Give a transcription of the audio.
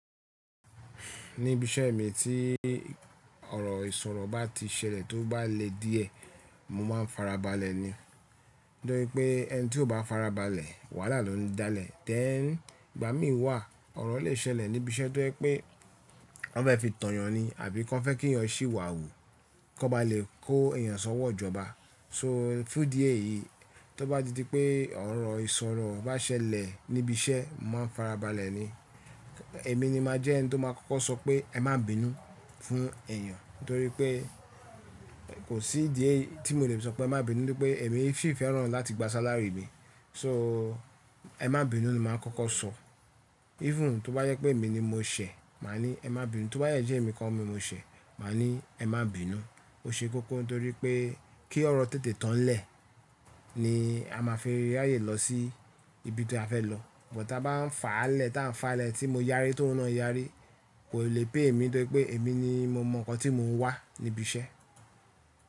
Níbi iṣẹ́ mi tí ọ̀rọ̀ ìsọ̀rọ̀ bá ti ṣẹlẹ̀ tó bá le díẹ̀, mo máa ń farabalẹ̀ ni. Torí pé ẹni tí ó bá farabalẹ̀, wàhálà ló ń dáa lẹ̀. Tẹ́ẹ̀ ni ìgbà mí wà ọ̀rọ̀ lè ṣẹlẹ̀ níbi iṣẹ́ tó jẹ́ pé wọ́n fẹ́ fi tàn yàn ni àbí kí wọ́n fẹ́ kí yẹn ṣì wà wù, kí wọ́n bá lè kó èèyàn sọ́wọ́ ìjọba. So fún díẹ̀ yìí, tó bá di pé ọ̀rọ̀ ìsọ̀rọ̀ bá ṣẹlẹ̀ níbi iṣẹ́, mo máa ń farabalẹ̀ ni. Èmi ni màá jẹ́ ẹni tó máa kọ́kọ́ sọ pé ẹ má bínú fún èèyàn. Nítorí pé kò sí díẹ̀ tí mo le sọ pé má bínú, nítorí pé èmi sì fẹ́ràn láti gba sáláàrí mi. So ẹ má bínú ni màá kọ́kọ́ sọ. Even tó bá yẹ pé èmi ni mo ṣẹ̀, màá ní ẹ má bínú. Tó bá yẹ pé jẹ́ ẹ̀mi kan mi mo ṣẹ̀, màá ní ẹ má bínú. Ó ṣe kókó nítorí pé kí ọ̀rọ̀ tètè tán lẹ̀ ni a máa fi rayé lọ sí ibi tí a fẹ́ lọ. Bùtá bá ń fà á lẹ̀, tá ń fà á lẹ̀ tí mo yára tí òun náà yára, kò lè pé èmi torí pé èmi ni mo mọ̀ ǹkan tí mò ń wá níbi iṣẹ́.